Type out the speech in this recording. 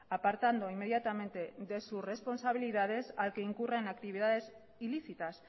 apartando inmediatamente de sus responsabilidades al que incurra en actividades ilícitas